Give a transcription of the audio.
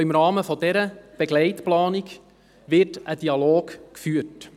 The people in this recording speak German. Auch im Rahmen dieser Begleitplanung wird ein Dialog geführt.